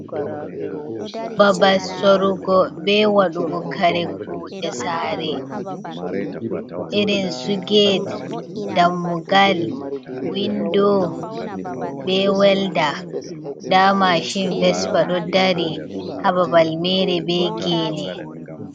Babal sorugo be wadugo kare kuɗe sare irin su gate, dammugal, window be welda. Nda machine vespa do dari ha babal mere be gene.